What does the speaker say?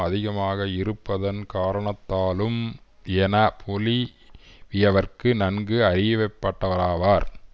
அதிகமாக இருப்பதன் காரணத்தாலும் என பொலி வியர்களுக்கு நன்கு அறியப்பட்டவராவார்